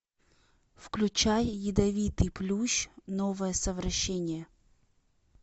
включай ядовитый плющ новое совращение